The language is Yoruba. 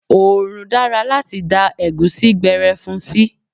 Oòrùn dára láti dá Ẹ̀gúsí gbere fún sí.